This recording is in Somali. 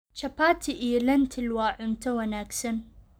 Chapati iyo lentil waa cunto wanaagsan.